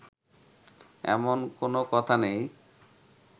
এমন কোন কথা নেই